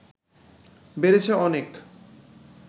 বেড়েছে অনেক